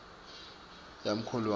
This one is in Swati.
yakholwane